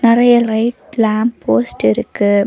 நறைய light lamp post இருக்கு.